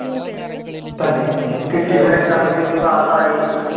തന്നെ exam ഒക്കെ എഴുതി പാസ്സായി